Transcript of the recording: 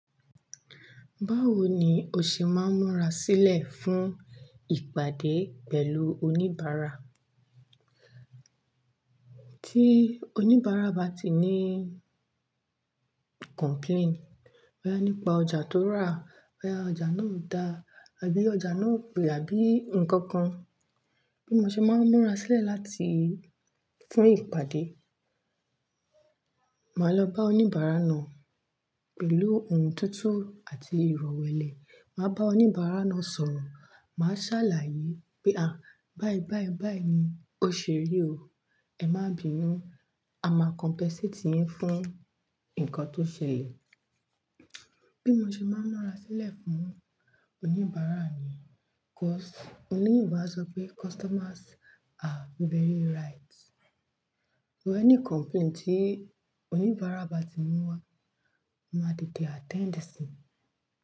Báwo ni o ṣe máa ń múra sílẹ̀ fún ìpàdé pẹ̀lú oníbàárà? Tí oníbàárà bá ti ní complain boya nípa ọjà tó rà, boya ọjà náà o dà abi ọjà náà o pè àbí nǹkan kan, bí mo ṣe máa ń múra sílẹ̀ láti fún ìpàdé, màá lọ bá oníbàárà náà pẹ̀lú ohùn tuntun àti ìrọ̀wẹ́lẹ̀. Màá bá oníbàárà náà sọ̀rọ̀, màá sàlàyé pé "à, báyìí báyìí báyìí ni ó ṣẹrẹ̀ o, ẹ má bíi nù, a máa compensate yín fún nǹkan tó ṣẹlẹ̀." Bí mo ṣe máa ń múra sílẹ̀ fún oníbàárà mi, because oloyinbo a sọ pé customers are very right. Wo ẹni complaint tí oníbàárà bá ti mú wá, mo màá tètè attend sí i.